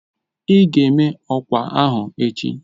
Ị ga-eme ọkwa ahụ echi